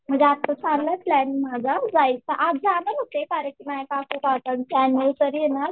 म्हणजे आत्ता चाललंय प्लॅन माझा जायचा आज जाणार होते कार्यक्रम होता काकू काकांचा त्यांची अनिव्हर्सरी आहे ना